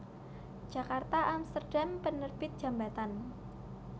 Djakarta Amsterdam Penerbit Djambatan